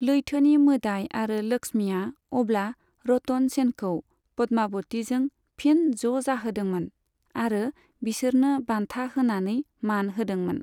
लैथोनि मोदाइ आरो लक्ष्मीआ अब्ला रतन सेनखौ पद्माबतिजों फिन ज' जाहोदोंमोन आरो बिसोरनो बान्था होनानै मान होदोंमोन।